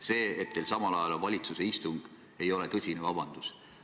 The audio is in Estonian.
See, et teil samal ajal on valitsuse istung, ei ole tõsine vabandus.